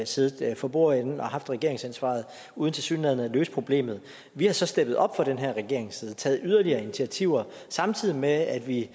siddet for bordenden og haft regeringsansvaret uden tilsyneladende at løse problemet vi har så steppet op fra den her regerings side og taget yderligere initiativer samtidig med at vi i